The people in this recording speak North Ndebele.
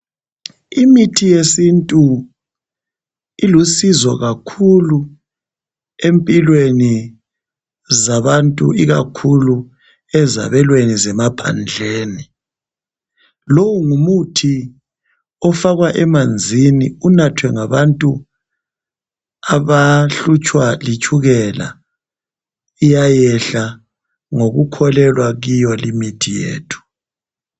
Imithi yesintu ilusizo kakhulu empilweni zabantu ikakhulu ezabelweni zemaphandleni lowu ngumuthi ofakwa emanzini unathwe ngabantu abahlutshwa litshukela iyayehla ngokukholelwa kiyo limithi yethu